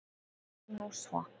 Það var nú svo!